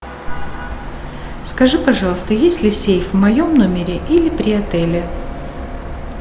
скажи пожалуйста есть ли сейф в моем номере или при отеле